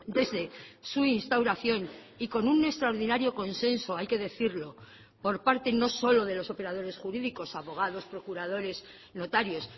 desde su instauración y con un extraordinario consenso hay que decirlo por parte no solo de los operadores jurídicos abogados procuradores notarios